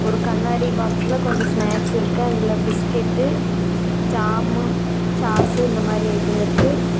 ஒரு கண்ணாடி பாக்ஸ்ல கொஞ்சோ ஸ்னாக்ஸ் இருக்கு அதுல பிஸ்கட்டு ஜாம்மு சாஸ்ஸு இந்த மாரி ஐட்டம் இருக்கு.